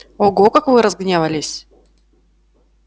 ого как вы разгневались